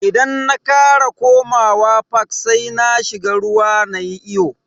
Idan na kara komawa fak sai na shiga ruwa nayi iyo.